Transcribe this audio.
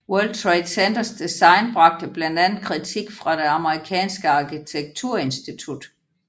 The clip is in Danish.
World Trade Centers design bragte blandt andet kritik fra det amerikanske arkitekturinstitut